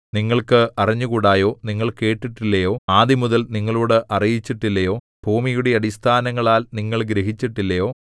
നിങ്ങൾക്ക് അറിഞ്ഞുകൂടായോ നിങ്ങൾ കേട്ടിട്ടില്ലയോ ആദിമുതൽ നിങ്ങളോട് അറിയിച്ചിട്ടില്ലയോ ഭൂമിയുടെ അടിസ്ഥാനങ്ങളാൽ നിങ്ങൾ ഗ്രഹിച്ചിട്ടില്ലയോ